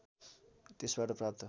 त्यसबाट प्राप्त